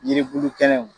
Yiribulu kɛnɛw